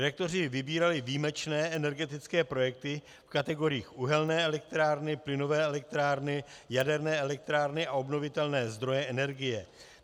Redaktoři vybírali výjimečné energetické projekty v kategoriích uhelné elektrárny, plynové elektrárny, jaderné elektrárny a obnovitelné zdroje energie.